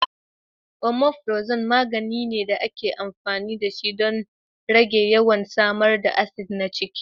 Omeprazole magani ne da ake amfani dashi don rage yawan samar da acid na ciki.